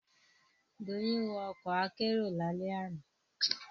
Doyin wọ ọkọ̀ akérò lálẹ́ àná